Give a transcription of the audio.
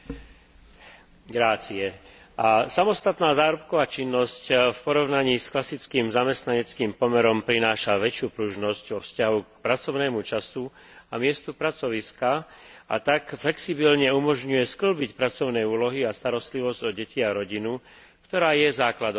Samostatná zárobková činnosť v porovnaní s klasickým zamestnaneckým pomerom prináša väčšiu pružnosť vo vzťahu k pracovnému času a k miestu pracoviska, a tak flexibilne umožňuje skĺbiť pracovné úlohy a starostlivosť o deti a rodinu, ktorá je základom zdravého fungovania spoločnosti.